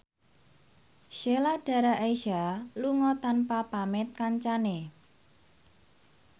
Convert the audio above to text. Sheila Dara Aisha lunga tanpa pamit kancane